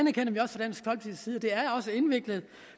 sige at